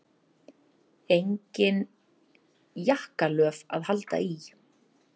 Engin jakkalöf að halda í.